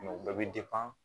o bɛɛ bɛ